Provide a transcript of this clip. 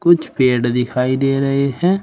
कुछ पेड़ दिखाई दे रही है।